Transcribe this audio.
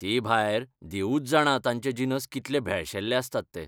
तेभायर, देवूच जाणा तांचे जिनस कितले भेळशेल्ले आसतात ते.